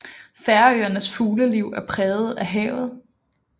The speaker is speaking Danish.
Færøernes fugleliv er præget af havet